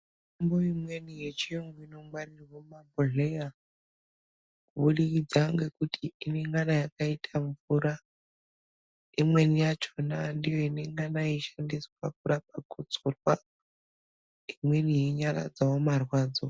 Mitombo imweni yechiyungu inongwaririrwa mumabhodhleya kubudikidza ngekuti inongana yakaita mvura imweni yachona ndiyo inongana yeishandiswa kurapa gotsorwa imweni yeinyaradzawo marwadzo.